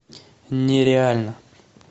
нереально